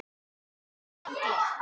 Allt annað gleymt.